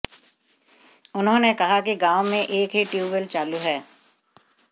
उन्होंने कहा कि गांव में एक ही ट्यूबवैल चालू है